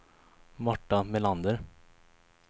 Marta Melander